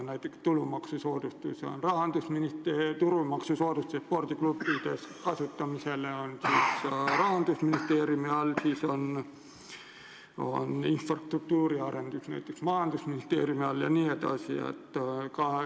Tulumaksusoodustus spordiklubide teenuste kasutamise puhul on Rahandusministeeriumi all, infrastruktuuri arendus majandusministeeriumi all jne.